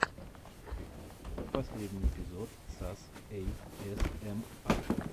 последний эпизод сас эй эс эм ар